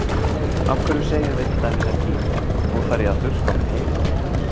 Af hverju segjum við til dæmis ekki: Nú þarf ég að þurrka á mér heilann?